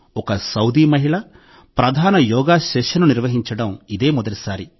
ఒక సౌదీ మహిళ ప్రధాన యోగా సెషన్ను నిర్వహించడం ఇదే మొదటిసారి